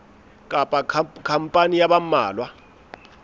kapa khampani ya ba mmalwa